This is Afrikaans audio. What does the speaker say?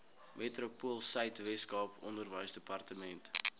metropoolsuid weskaap onderwysdepartement